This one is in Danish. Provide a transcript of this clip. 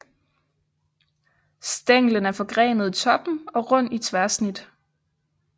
Stænglen er forgrenet i toppen og rund i tværsnit